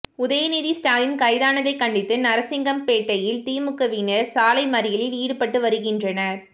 உதயநிதி ஸ்டாலின் கைதானதை கண்டித்து நரசிங்கம்பேட்டையில் திமுகவினர் சாலை மறியலில் ஈடுபட்டு வருகின்றனர்